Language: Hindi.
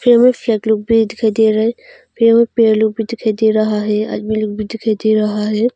यहां फ्लैग लोग भी दिखाई दे रहा है यहां पेड़ लोग भी दिखाई दे रहा है आदमी लोग भी दिखाई दे रहा है।